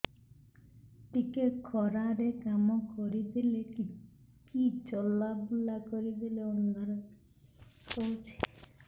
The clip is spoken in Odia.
ଟିକେ ଖରା ରେ କାମ କରିଦେଲେ କି ଚଲବୁଲା କରିଦେଲେ ଅନ୍ଧାର ଦେଖା ହଉଚି